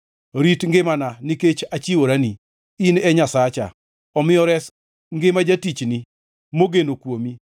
Rit ngimana, nikech achiworani. In e Nyasacha, omiyo res ngima jatichni, mogeno kuomi.